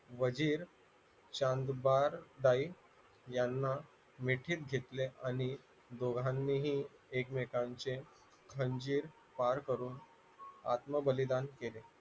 वजीर चांदबार ताई यांना मिठीत घेतले आणि दोघांनीही एकमेकांचे खंजीर वार करून आत्मबलिदान केले